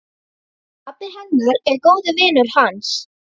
Pabbi hennar er góður vinur hans.